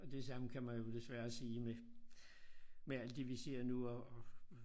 Og det samme kan man jo desværre sige med med alt det vi ser nu og og og